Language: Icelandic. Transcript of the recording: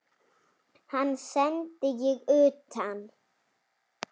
Hann sendi ég utan.